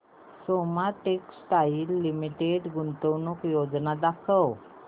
Soma textile limited गुंतवणूक योजना दाखव